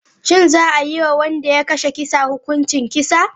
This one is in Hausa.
Shin za a yi wa wanda ya kashe kisa hukuncin kisa?